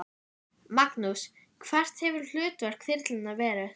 Magnús: Hvert hefur hlutverk þyrlunnar verið?